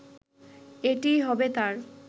এটিই হবে তার